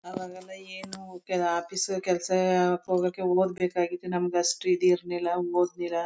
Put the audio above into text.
ಆವಾಗೆಲ್ಲ ಏನು ಆಫೀಸ್ ಕೆಲ್ಸಕ್ಕ್ ಹೋಗೋಕೆ ಒದ್ ಬೇಕಾಗಿತ್ತು ನಮಗೆ ಅಷ್ಟುಇದಿರಲಿಲ್ಲ ಓದ್ಲಿಲ.